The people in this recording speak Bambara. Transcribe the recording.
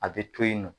A bɛ to yen nɔ